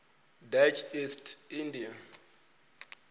dutch east india